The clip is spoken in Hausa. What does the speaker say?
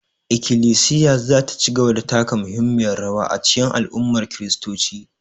Ikilisiya za ta ci gaba da taka muhimmiyar rawa a cikin al'ummar kiristoci